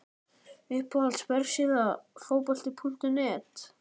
Uppáhalds vefsíða? Fótbolti.net